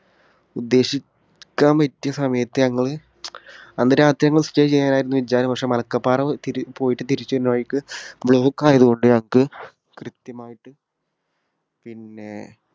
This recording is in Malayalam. ഉദ്ദേശിക്കാൻ പറ്റിയ സമയത്ത് ഞങ്ങൾ അന്നുരാത്രി ഞങ്ങൾ stay ചെയ്യണമെന്നായിരുന്നു വിചാരം. പക്ഷേ മലക്കപ്പാറ തിരി, പോയിട്ട് തിരിച്ചുവരുന്ന വഴിക്ക് block ആയതുകൊണ്ട് ഞങ്ങൾക്ക് കൃത്യമായിട്ട് പിന്നെ